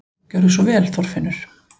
Gerðu svo vel, Þorfinnur!